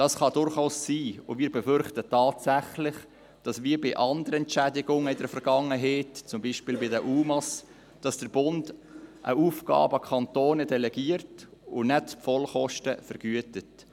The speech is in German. Das kann durchaus sein, und wir befürchten tatsächlich, dass – wie bei anderen Entschädigungen in der Vergangenheit, zum Beispiel bei unbegleiteten minderjährigen Asylsuchende (UMA) – der Bund eine Aufgabe an die Kantone delegiert und nicht die Vollkosten vergütet.